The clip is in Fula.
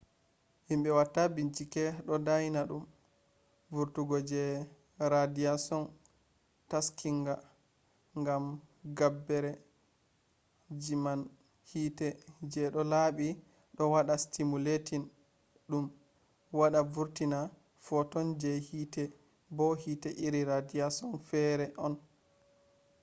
himbe watta binchike do dyona dum vurtungo je radiashon taskinga” gam gabbere ji man hite je do laabi do wada stimulating dum wada vurtina photon je hite bo hite iri radiashon fere on